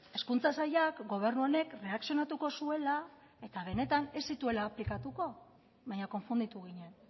hezkuntza sailak gobernu honek erreakzionatuko zuela eta benetan ez zituela aplikatuko baina konfunditu ginen